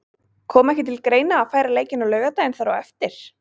Kom ekki til greina að færa leikinn á laugardaginn þar á eftir?